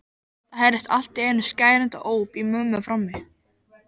Það heyrðist allt í einu skerandi óp í mömmu frammi.